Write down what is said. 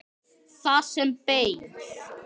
Það sem beið.